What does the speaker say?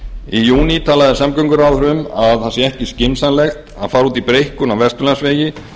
í júní talaði samgönguráðherra um að það sé ekki skynsamlegt að fara út í breikkun á vesturlandsvegi